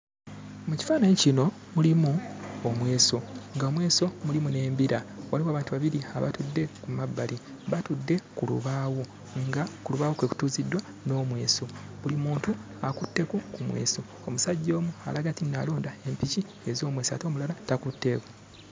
Mu kifaananyi kino mulimu omweso, ng'omweso mulimu n'embira. Waliwo abantu babiri abatudde ku mabbali, batudde ku lubaawo nga ku lubaawo kwe kutuuziddwa n'omweso. Buli muntu akutteko ku mweso, omusajja omu alaga nti alonda empiki ez'omweso ate omulala takutteeko.